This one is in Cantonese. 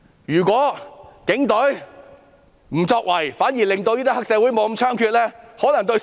如果警隊不作為，反而令黑社會不太猖獗，可能更能造福市民。